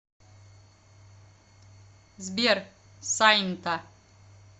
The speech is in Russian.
сбер сайнта